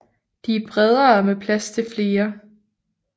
De er bredere med plads til flere